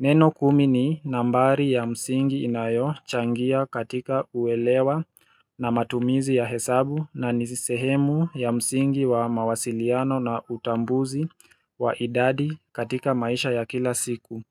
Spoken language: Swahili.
Neno kumi ni nambari ya msingi inayochangia katika uelewa na matumizi ya hesabu na ni sehemu ya msingi wa mawasiliano na utambuzi wa idadi katika maisha ya kila siku